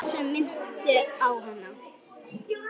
Allt sem minnti á hana.